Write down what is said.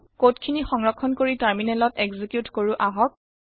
code খিনি সংৰক্ষণ কৰি টাৰমিনেলত একজিকিউত কৰো আহক